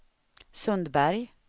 Sundberg